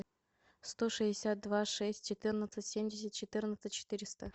сто шестьдесят два шесть четырнадцать семьдесят четырнадцать четыреста